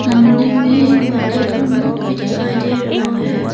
सामने में एक बकेट और मग भी दिखाई दे रहा है।